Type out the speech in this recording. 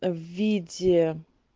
в виде